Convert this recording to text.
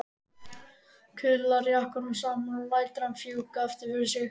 Kuðlar jakkanum saman og lætur hann fjúka aftur fyrir sig.